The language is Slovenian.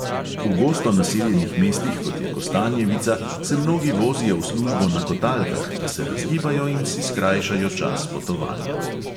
V gosto naseljenih mestih, kot je kostanjevica, se mnogi vozijo v službo na kotalkah, da se razgibajo in si skrajšajo čas potovanja.